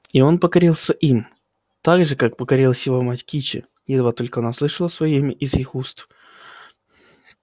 и он покорился им так же как покорилась его мать кичи едва только она услышала своё имя из их уст